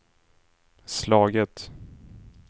slagit